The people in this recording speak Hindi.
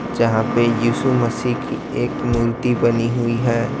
यहां पे यीशु मसीह की एक मूर्ति बनी हुई है।